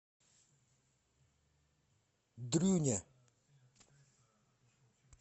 дрюня